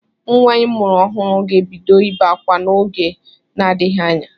Nwa ịmụrụ ọhụrụ ga-ebido ibe akwa n'oge na-adịghị anya.